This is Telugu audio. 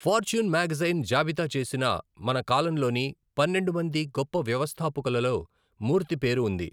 ఫార్చ్యూన్ మ్యాగజైన్ జాబితా చేసిన మన కాలంలోని పన్నెండు మంది గొప్ప వ్యవస్థాపకులలో మూర్తి పేరు ఉంది.